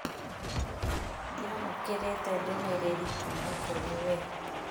Ndiamũkĩrĩte ndũmĩrĩrĩ kuma kũrĩ we